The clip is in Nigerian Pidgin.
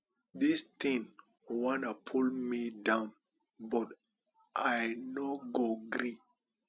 dis thing wan pull me down but i no go gree